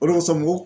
O de kosɔn n ko